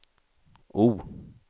O